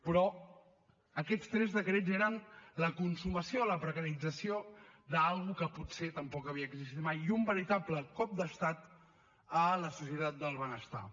però aquests tres decrets eren la consumació de la precarització d’alguna cosa que potser tampoc havia existit mai i un veritable cop d’estat a la societat del benestar